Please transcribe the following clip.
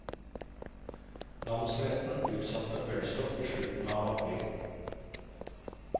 Namsretten utsatte ølstopp i slutten av april.